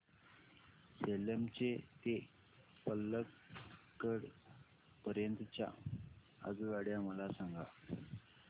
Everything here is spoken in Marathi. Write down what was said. सेलम ते पल्लकड पर्यंत च्या आगगाड्या मला सांगा